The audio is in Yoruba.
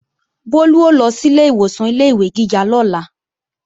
Bólú ó lọ sílé ìwòsàn ilé-ìwé gíga lọ́la